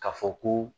Ka fɔ ko